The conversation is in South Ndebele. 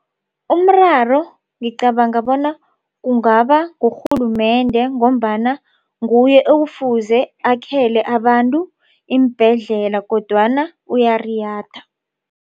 Umraro ngicabanga bona kungaba ngurhulumende ngombana nguye ekufuze akhele abantu iimbhedlela kodwana uyariyada.